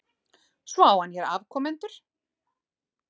Svo hann á hér afkomendur?